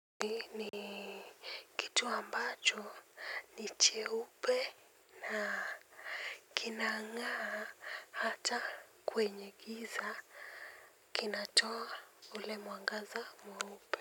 Nini kitu ambacho ni cheupe na kinangaa hata kwenye giza kinatoa ule mwangaza mweupe.